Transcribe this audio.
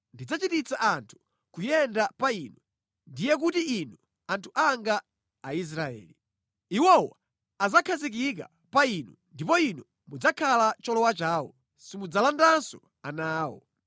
Ndidzachititsa anthu kuyenda pa inu, ndiye kuti inu anthu anga Aisraeli. Iwowo adzakhazikika pa inu, ndipo inu mudzakhala cholowa chawo. Simudzalandanso ana awo.